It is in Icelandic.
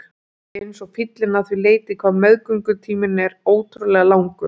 Ætli ég sé ekki eins og fíllinn að því leyti hvað meðgöngutíminn er ótrúlega langur.